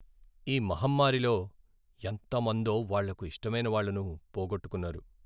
ఈ మహమ్మారిలో ఎంత మందో వాళ్లకు ఇష్టమైన వాళ్ళను పోగొట్టుకున్నారు.